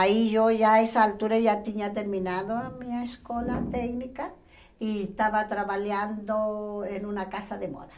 Aí, eu já, essa altura, já tinha terminado a minha escola técnica e estava trabalhando em uma casa de moda.